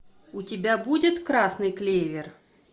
у тебя будет красный клевер